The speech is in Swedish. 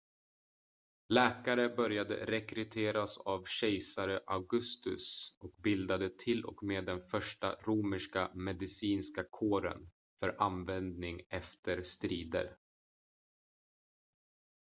läkare började rekryteras av kejsare augustus och bildade till och med den första romerska medicinska kåren för användning efter strider